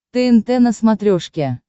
тнт на смотрешке